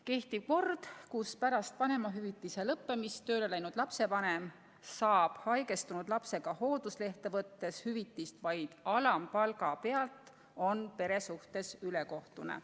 Kehtiv kord, kus pärast vanemahüvitise lõppemist tööle läinud lapsevanem saab haigestunud lapsega hoolduslehte võttes hüvitist vaid alampalga pealt, on pere suhtes ülekohtune.